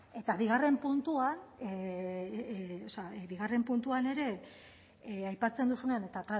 eta bigarren puntuan bigarren puntuan ere aipatzen duzunean eta